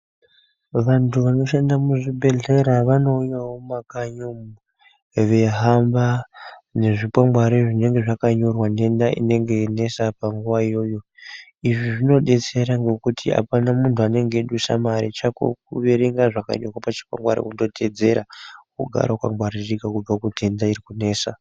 Vantu vanoshanda muzvibhedhlera vandouyawo mumakanyi umwo veihamba nezvikwangwari zvinenge zvakanyorwa nenda inenge yeinesa panguwa iyoyo, izvi zvinodetsera ngokuti apana muntu anenge eidusa mare chako kuverenga zvakanyorwa pachikwangwari wototeedzera wogara wakagwaririka kubva kundenda irikunesa.